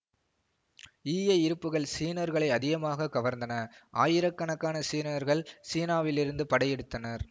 ஈய இருப்புகள் சீனர்களை அதிகமாக கவர்ந்தன ஆயிரக்கணக்கான சீனர்கள் சீனாவிலிருந்து படை எடுத்தனர்